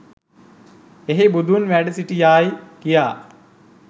එහි බුදුන් වැඩ සිටියායි කියා